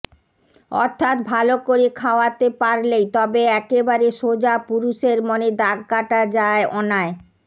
অর্থাৎ ভালো করে খাওয়াতে পারলেই তবে একেবারে সোজা পুরুষের মনে দাগ কাটা যায় অনায়